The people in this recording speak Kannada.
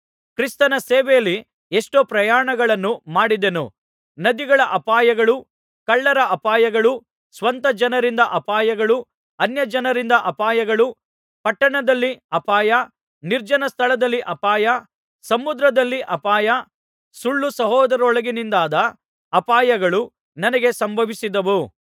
ಕ್ರಿಸ್ತನ ಸೇವೆಯಲ್ಲಿ ಎಷ್ಟೋ ಪ್ರಯಾಣಗಳನ್ನು ಮಾಡಿದೆನು ನದಿಗಳ ಅಪಾಯಗಳೂ ಕಳ್ಳರ ಅಪಾಯಗಳೂ ಸ್ವಂತ ಜನರಿಂದ ಅಪಾಯಗಳೂ ಅನ್ಯಜನರಿಂದ ಅಪಾಯಗಳೂ ಪಟ್ಟಣದಲ್ಲಿ ಅಪಾಯ ನಿರ್ಜನ ಸ್ಥಳದಲ್ಲಿ ಅಪಾಯ ಸಮುದ್ರದಲ್ಲಿ ಅಪಾಯ ಸುಳ್ಳು ಸಹೋದರರೊಳಗಿನಿಂದಾದ ಅಪಾಯಗಳೂ ನನಗೆ ಸಂಭವಿಸಿದವು